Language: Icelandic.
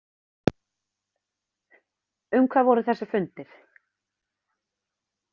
Um hvað voru þessir fundir?